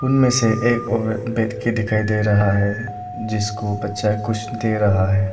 उनमें से एक औरत बैठ के दिखाई दे रहा है जिसको बच्चा कुछ दे रहा है।